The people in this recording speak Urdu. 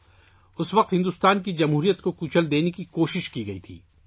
اس وقت ہندوستان کی جمہوریت کو کچلنے کی کوشش کی گئی تھی